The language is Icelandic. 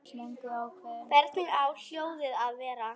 Hvernig á hjólið að vera?